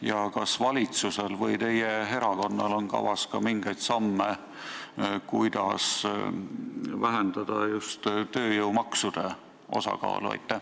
Ja kas valitsusel või teie erakonnal on kavas mingeid samme, kuidas vähendada just tööjõumaksude osakaalu?